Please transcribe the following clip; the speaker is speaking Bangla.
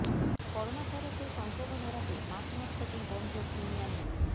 করোনা ভাইরাসের সংক্রমণ এড়াতে মার্চ মাস থেকেই বন্ধ প্রিমিয়ার লিগ